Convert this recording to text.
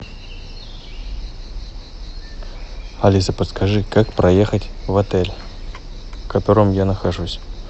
алиса подскажи как проехать в отель в котором я нахожусь